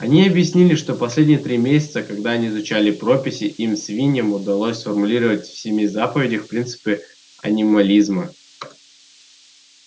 они объяснили что последние три месяца когда они изучали прописи им свиньям удалось сформулировать в семи заповедях принципы анимализма